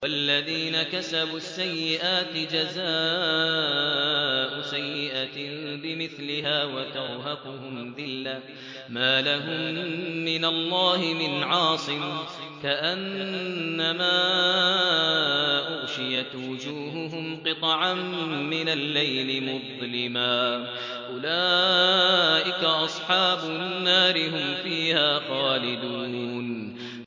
وَالَّذِينَ كَسَبُوا السَّيِّئَاتِ جَزَاءُ سَيِّئَةٍ بِمِثْلِهَا وَتَرْهَقُهُمْ ذِلَّةٌ ۖ مَّا لَهُم مِّنَ اللَّهِ مِنْ عَاصِمٍ ۖ كَأَنَّمَا أُغْشِيَتْ وُجُوهُهُمْ قِطَعًا مِّنَ اللَّيْلِ مُظْلِمًا ۚ أُولَٰئِكَ أَصْحَابُ النَّارِ ۖ هُمْ فِيهَا خَالِدُونَ